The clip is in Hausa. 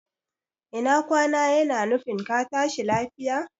Ina kwana yana nufin ka tashi lafiya